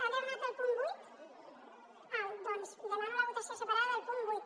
ha demanat el punt vuit la votació separada del punt vuit